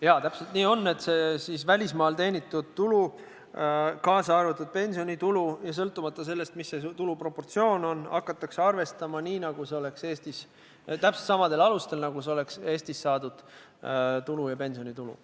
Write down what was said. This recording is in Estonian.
Jaa, täpselt nii on, et välismaal teenitud tulu, kaasa arvatud pensionitulu – sõltumata sellest, mis see tuluproportsioon on – hakatakse arvestama täpselt samadel alustel, nagu see oleks Eestis saadud tulu ja pensionitulu.